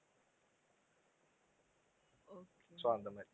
so அந்த மாதிரி